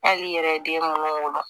Hali i yɛrɛ ye den munnu wolo